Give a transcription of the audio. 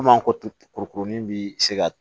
Komi an ko ko to kurukurunin bi se ka